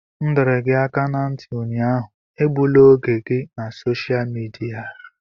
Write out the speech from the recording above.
M dọrọ gị aka ná ntị ụnyaahụ, egbula oge gị na sosha midia!